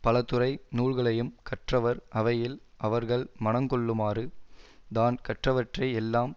பலதுறை நூல்களையும் கற்றவர் அவையில் அவர்கள் மனங் கொள்ளுமாறு தான் கற்றவற்றை எல்லாம்